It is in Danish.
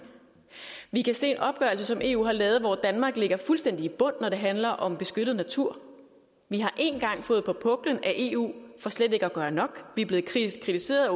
vi kan se en opgørelse som eu har lavet hvor danmark ligger fuldstændig i bund når det handler om beskyttet natur vi har én gang fået på puklen af eu for slet ikke at gøre nok vi er blevet kritiseret